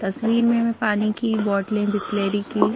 तस्वीर में मैं पानी की बोटलें बिसलरी की--